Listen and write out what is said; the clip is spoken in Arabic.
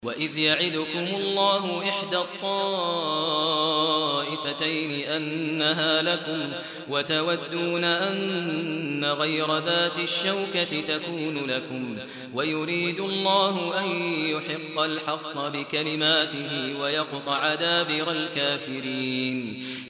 وَإِذْ يَعِدُكُمُ اللَّهُ إِحْدَى الطَّائِفَتَيْنِ أَنَّهَا لَكُمْ وَتَوَدُّونَ أَنَّ غَيْرَ ذَاتِ الشَّوْكَةِ تَكُونُ لَكُمْ وَيُرِيدُ اللَّهُ أَن يُحِقَّ الْحَقَّ بِكَلِمَاتِهِ وَيَقْطَعَ دَابِرَ الْكَافِرِينَ